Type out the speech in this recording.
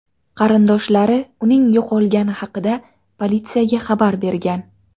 Qarindoshlari uning yo‘qolgani haqida politsiyaga xabar bergan.